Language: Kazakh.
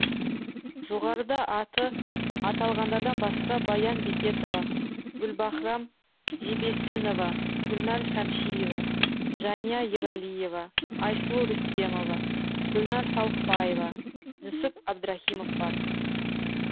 жоғарыда аты аталғандардан басқа баян бекетова гүлбаһрам жебесінова гүлнәр шәмшиева жания ералиева айсұлу рүстемова гүлнар салықбаева нүсіп абдрахимов бар